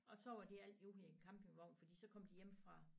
Og så var de altid ude i æ campingvogn for så kom de hjemmefra